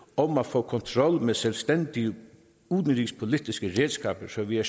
om at få kontrol med selvstændige udenrigspolitiske redskaber så vi er